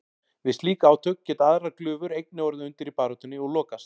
Við slík átök geta aðrar glufur einnig orðið undir í baráttunni og lokast.